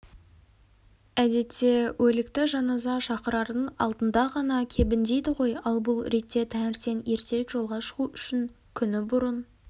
әдетте өлікті жаназа шақырардың алдында ғана кебіндейді ғой ал бұл ретте таңертең ертерек жолға шығу үшін күні бұрын